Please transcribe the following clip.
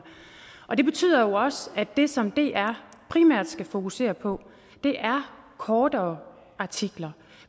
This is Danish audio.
og det betyder jo også at det som dr primært skal fokusere på er kortere artikler